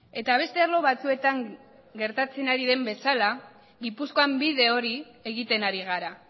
eta beste arlo batzuetan gertatzen ari den bezala gipuzkoan bide hori egiten ari gara